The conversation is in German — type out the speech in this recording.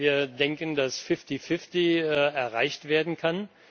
wir denken, dass fifty fifty erreicht werden kann.